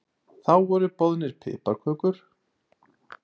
Þá voru boðnar piparkökur og glögg sem oft var þó blönduð af lítilli kunnáttu.